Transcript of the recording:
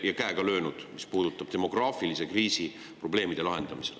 … ja käega löönud, mis puudutab demograafilise kriisi probleemide lahendamist.